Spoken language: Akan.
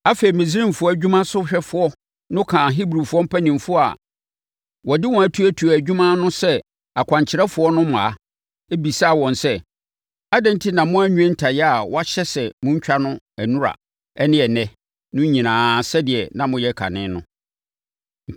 Afei, Misraimfoɔ adwumasohwɛfoɔ no kaa Hebrifoɔ mpanimfoɔ a wɔde wɔn atuatua adwuma no ano sɛ akwankyerɛfoɔ no mmaa, bisaa wɔn sɛ, “Adɛn enti na moanwie ntayaa a wɔahyɛ sɛ montwa no nnora ne ɛnnɛ no nyinaa sɛdeɛ na moyɛ kane no?”